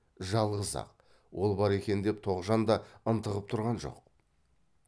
жалғыз ақ ол бар екен деп тоғжан да ынтығып тұрған жоқ